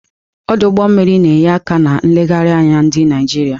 Ọdụ ụgbọ mmiri na-enye aka na nlegharị anya ndị Naijiria.